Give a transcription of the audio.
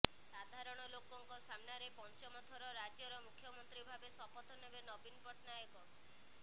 ସାଧାରଣ ଲୋକଙ୍କ ସାମନାରେ ପଞ୍ଚମ ଥର ରାଜ୍ୟର ମୁଖ୍ୟମନ୍ତ୍ରୀ ଭାବରେ ଶପଥ ନେବେ ନବୀନ ପଟ୍ଟନାୟକ